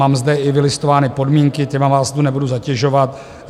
Mám zde i vylistovány podmínky, těmi vás tu nebudu zatěžovat.